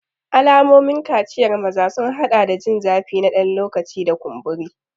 Alamomin kaciyar maza sun haɗa da jin zafi na ɗan lokaci da kumburi.